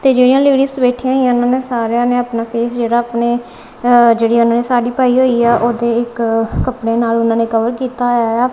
ਤੇ ਜਿਹੜੀਆਂ ਲੇਡੀਜ ਬੈਠੀਆਂ ਹੋਈਆਂ ਨੇ ਉਹਨਾਂ ਸਾਰਿਆਂ ਨੇ ਆਪਣਾ ਫੇਸ ਜਿਹੜਾ ਆਪਣੇ ਅ ਜਿਹੜੀ ਉਹਨਾਂ ਨੇ ਸਾੜੀ ਪਾਈ ਹੋਈ ਆ ਉਹਦੇ ਇੱਕ ਕੱਪੜਿਆਂ ਨਾਲ ਉਹਨਾਂ ਨੇ ਕਵਰ ਕੀਤਾ ਹੋਇਆ ਏ ਆ। ਤੇ